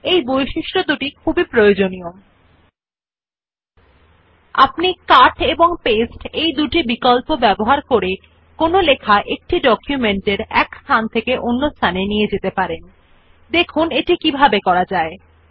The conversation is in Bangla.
এই বৈশিষ্ট্যগুলি খুবই দরকারী যখন একটি অনুরূপ লেখা বড় নথি পরিমাণ যেখানে আপনি বারবার সম্পূর্ণ টেক্সট লিখতে হবে না লেখা This feature is very useful while writing a large amount of similar text in documents where you don't need to write the entire text repeatedly